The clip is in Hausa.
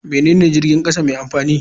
Menene jirgin kasa mai amfani?